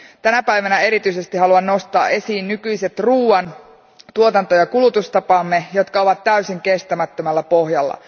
Tänä päivänä erityisesti haluan nostaa esiin nykyiset ruoan tuotanto ja kulutustapamme, jotka ovat täysin kestämättömällä pohjalla.